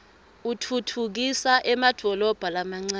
utfutfukisa emadolobha lamancane